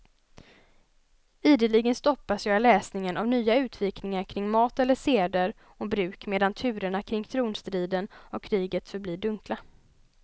Ideligen stoppas jag i läsningen av nya utvikningar kring mat eller seder och bruk medan turerna kring tronstriden och kriget förblir dunkla.